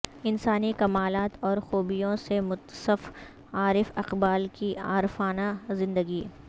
انسانی کمالات اور خوبیوں سے متصف عارف اقبال کی عارفانہ زندگی